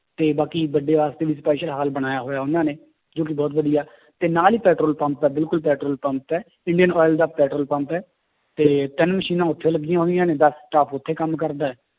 ਤੇ ਬਾਕੀ ਵੱਡਿਆਂ ਵਾਸਤੇ ਵੀ special ਹਾਲ ਬਣਾਇਆ ਹੋਇਆ ਉਹਨਾਂ ਨੇ ਜੋ ਕਿ ਬਹੁਤ ਵਧੀਆ ਤੇ ਨਾਲ ਹੀ ਪੈਟਰੋਲ ਪੰਪ ਹੈ ਬਿਲਕੁਲ ਪੈਟਰੋਲ ਪੰਪ ਹੈ ਇੰਡੀਅਨ oil ਦਾ ਪੈਟਰੋਲ ਪੰਪ ਹੈ, ਤੇ ਤਿੰਨ ਮਸ਼ੀਨਾਂ ਉੱਥੇ ਲੱਗੀਆਂ ਹੋਈਆਂ ਨੇ ਦਸ staff ਉੱਥੇ ਕੰਮ ਕਰਦਾ ਹੈ